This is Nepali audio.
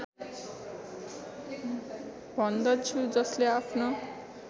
भन्दछु जसले आफ्नो